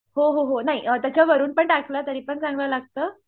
हो हो हो नाही त्याच्यावरून पण टाकलंतर चांगलं लागतं